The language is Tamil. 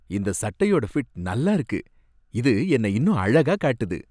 இந்த சட்டையோட ஃபிட் நல்லா இருக்கு. இது என்னை இன்னும் அழகா காட்டுது.